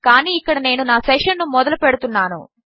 కానీ ఇక్కడ నేను నా సెషన్ ను మొదలు పెడుతున్నాను